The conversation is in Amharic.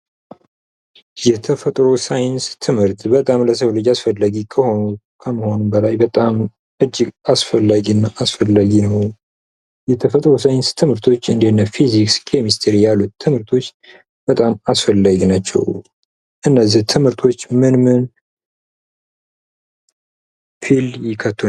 የተፈጥሮ ሳይንስ ትምህርት በጣም ለሰው ልጂ አስፈላጊ ከመሆኑም በላይ በጣም እጂግ አስፈላጊና አስፈላጊ የሆኑ የተፈጥሮ ሳይንስ ትምህርት እንደነፊዚክስ፣ ኬሚስትሪ ያሉት ትምህርቶች በጣም አስፈላጊ ናቸው። አነዚህ ትምህርቶች ምን ምን ፊልድ ያካትታሉ?